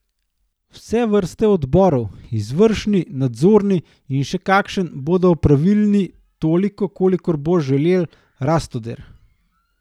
Vse vrste odborov, izvršni, nadzorni in še kakšen, bodo opravilni toliko, kolikor bo želel Rastoder.